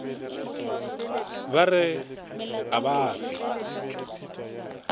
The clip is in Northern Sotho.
ba re a ba fe